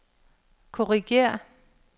korrigér